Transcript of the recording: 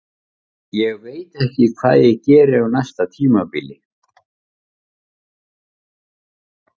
Ég veit ekki hvað ég geri á næsta tímabili.